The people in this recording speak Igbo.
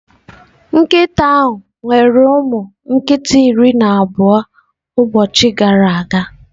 Nkịta ahụ nyere ụmụ nkita iri na abụọ ụbọchị abụọ gara aga